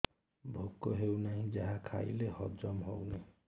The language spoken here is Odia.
ଭୋକ ହେଉନାହିଁ ଯାହା ଖାଇଲେ ହଜମ ହଉନି